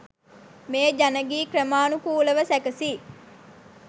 මේ ජන ගී ක්‍රමානුකූලව සැකසී